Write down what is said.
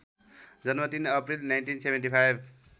जन्म ३ अप्रिल १९७५